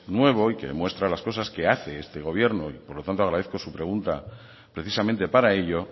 nuevo y que demuestra las cosas que hace este gobierno y por lo tanto agradezco su pregunta precisamente para ello